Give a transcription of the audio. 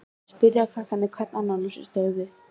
spyrja krakkarnir hver annan og hrista höfuðið.